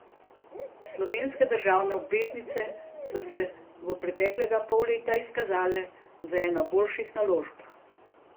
Slovenske državne obveznice so se v preteklega pol leta izkazale za eno boljših naložb.